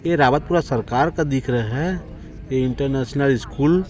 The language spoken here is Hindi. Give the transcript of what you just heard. ये रावतपुरा सरकार का दिख रहे हैं ये इंटरनेशनल स्कूल --